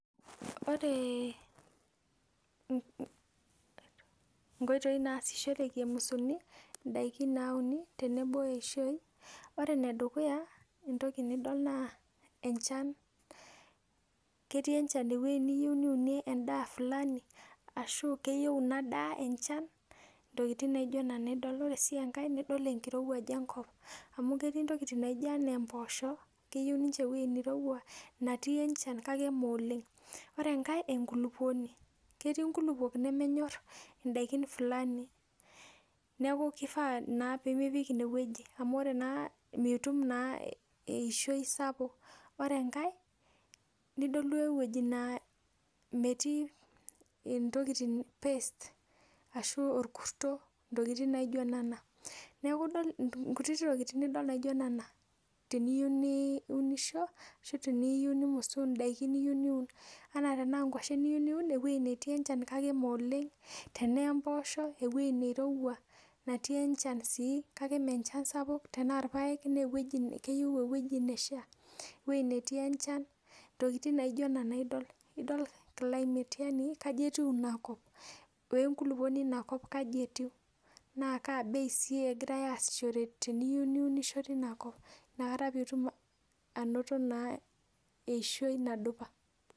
Ore nkoitoi naasishore emusuni ndakin nauni tenebo eishoi na ore enedukuya na ore entoki nidol naenchan ketii inakop enchan ntokitin naijo nona idil ore si enkae idol enkirowuaj enkop amu ore ntokitin naijo mpoosho keyieu ninche ewoi nairowua nemetii enchan sapuk ore enkae na enkulukuoni ketii nkululuok nemenyor ndakin flami neaku mipik inewueji amu mitum naa eishoi sapuk ore enkae nidol wuejitin na metiii intokitin orkurto nidol ntokitin kutitik teniyeiu neunisho anaa ngwashen iyieu niun ewoi netii enchan kake mooleng tanaa mpoosho na ewoi nairowua nemetii enchan sapuk tanaa irpaek keyieu ewoi netii enchan ntokitin naijo nona idol yanibkaja etiu inakop na kaa bei egira aasishore teniyeiu neunisho tinakop nakata indim ainoto eishoi nadupa